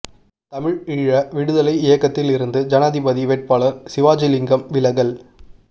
தமிழ் ஈழ விடுதலை இயக்கத்தில் இருந்து ஜனாதிபதி வேட்பாளர் சிவாஜிலிங்கம் விலகல்